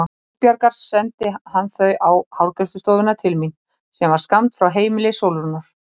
Guðbjargar sendi hann þau á hárgreiðslustofuna til mín sem var skammt frá heimili Sólrúnar.